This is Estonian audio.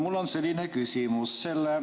Mul on selline küsimus.